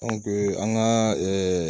an ka